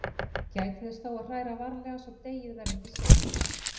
Gætið þess þó að hræra varlega svo deigið verði ekki seigt.